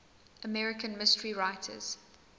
american mystery writers